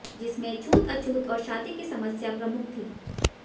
जिसमें छूत अछूत और शादी की समस्या प्रमुख थी